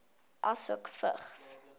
asook vigs